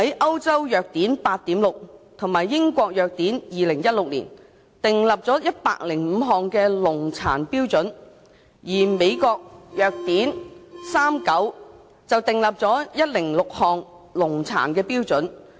《歐洲藥典 8.6》及《英國藥典2016》訂立了105項的農藥殘留量標準，而《美國藥典39》則訂立了106項農業殘留量標準。